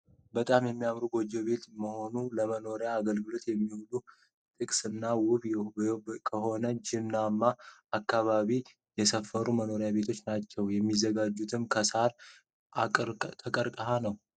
በጣም ያምሩ የጎጆ ቤቶች ሆኑ ለመኖርያ አገልግሎት የሚውሉ ጥቅስና ውብ ከሆነ ጀናማ አካባቢ የሰፈሩ መኖሪያ ቤቶች ናቸው። የሚዘጋጁትም ከሳርና ከቀርቀሃ ነው።